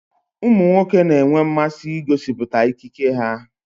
Ụmụ nwoke na-enwe mmasị igosịpụta ikike ha